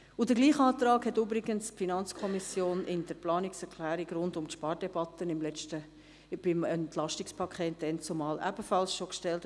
Denselben Antrag hatte übrigens die FiKo schon in der Planungserklärung rund um die Spardebatte beim EP gestellt.